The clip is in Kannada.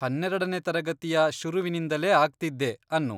ಹನ್ನೆರೆಡನೇ ತರಗತಿಯ ಶುರುವಿನಿಂದಲೇ ಆಗ್ತಿದ್ದೆ ಅನ್ನು.